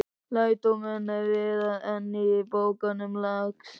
Lærdómurinn er víðar en í bókunum, lagsi.